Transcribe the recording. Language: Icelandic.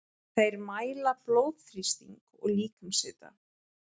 Þeir mæla blóðþrýsting og líkamshita.